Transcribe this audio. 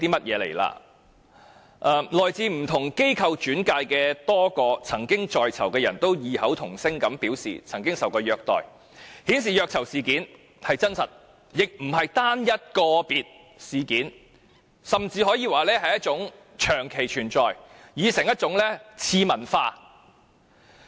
此外，來自不同機構轉介的多個曾經在囚人士異口同聲表示曾受虐待，顯示虐囚事件真實，亦非單一個別事件，甚至可以說是一種長期存在、已成一種次文化。